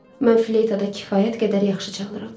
Mən fleytada kifayət qədər yaxşı çalıram.